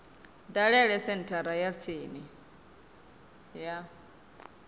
dalele senthara ya tsini ya